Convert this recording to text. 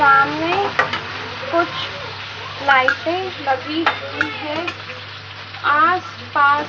सामने कुछ लाइटें लगी हुई है आस पास--